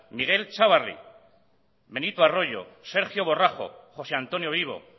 miguel chávarri benito arroyo sergio borrajo josé antonio vivo